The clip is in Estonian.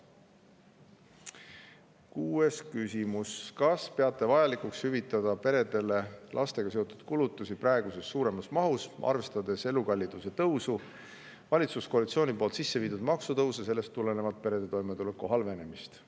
Kuues küsimus: "Kas peate vajalikuks hüvitada peredele lastega seotud kulutusi praegusest suuremas mahus, arvestades elukalliduse tõusu, valitsuskoalitsiooni poolt sisse viidud maksutõuse ja sellest tulenevalt perede toimetuleku halvenemist?